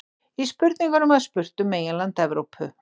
Í spurningunni var spurt um meginland Evrópu.